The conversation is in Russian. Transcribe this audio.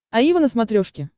аива на смотрешке